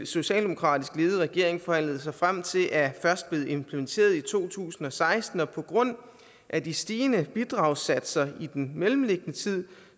socialdemokratisk ledede regering forhandlede sig frem til er først blevet implementeret i to tusind og seksten og på grund af de stigende bidragssatser i den mellemliggende tid